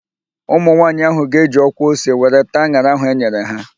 Ụmụ nwaanyị ahụ ga-eji ọkwa ose were taa an̄ara ahụ e nyere ha.